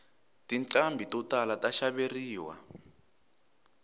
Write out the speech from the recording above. tinqhambi to tala ta xaveriwa